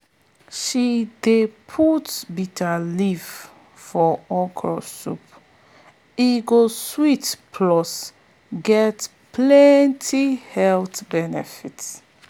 she dey put bitterleaf for okra soup e go sweet plus get plenty health benefit.